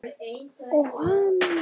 Og hana nú!